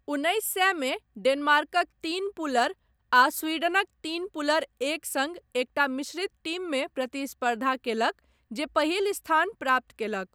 उन्नैस सएमे डेनमार्कक तीन पुलर आ स्वीडनक तीन पुलर एक सङ्ग एकटा मिश्रित टीममे प्रतिस्पर्धा कयलक जे पहिल स्थान प्राप्त कयलक।